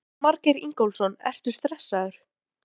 Jónas Margeir Ingólfsson: Ertu stressaður?